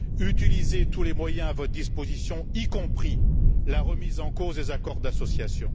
Utilisez tous les moyens à votre disposition, y compris la remise en cause des accords d'association.